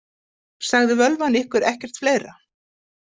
Sagði völvan ykkur ekkert fleira?